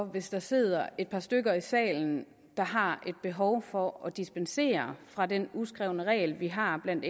hvis der sidder et par stykker i salen der har et behov for at dispensere fra den uskrevne regel vi har blandt